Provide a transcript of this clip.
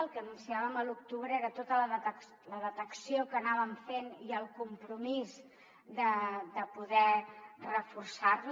el que anunciàvem a l’octubre era tota la detecció que anàvem fent i el compromís de poder reforçar la